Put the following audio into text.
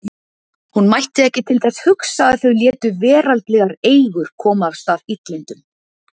Hún mætti ekki til þess hugsa að þau létu veraldlegar eigur koma af stað illindum.